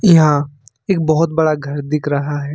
यहां एक बहुत बड़ा घर दिख रहा है।